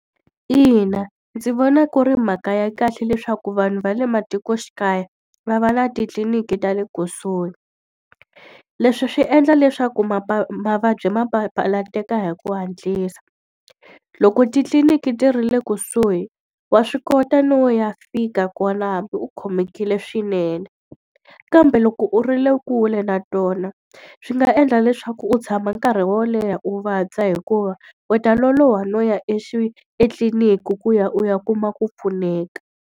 Ina ndzi vona ku ri mhaka ya kahle leswaku vanhu va le matikoxikaya va va na titliliniki ta le kusuhi. Leswi swi endla leswaku mavabyi ma papalateka hi ku hatlisa. Loko titliliniki ti ri le kusuhi wa swi kota no ya fika kwalaho hambi u khomekile swinene. Kambe loko u ri le kule na tona swi nga endla leswaku u tshama nkarhi wo leha u vabya hikuva, u ta loloha no ya etliliniki ku ya u ya kuma ku pfuneka.